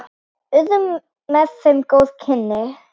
Urðu með þeim góð kynni.